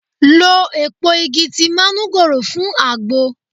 Lo èpo igi ti manugoro fún agbo.